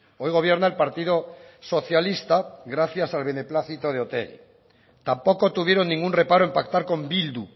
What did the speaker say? hoy gobierna el partido socialista gracias al beneplácito de otegi tampoco tuvieron ningún reparo en pactar con bildu